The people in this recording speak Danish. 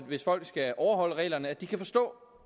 hvis folk skal overholde reglerne at de kan forstå